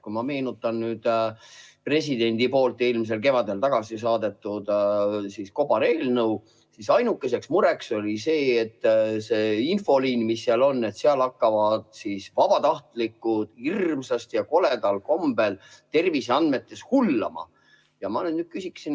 Kui ma meenutan eelmisel kevadel presidendi tagasi saadetud kobareelnõu, siis ainuke mure oli see, et selles infoliinis, mis seal kirjas oli, hakkavad vabatahtlikud hirmsasti ja koledal kombel terviseandmetes hullama.